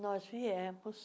Nós viemos.